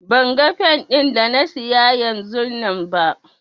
Ban gan fen din da na siya yanzunnan ba.